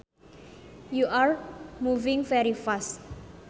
you are moving very fast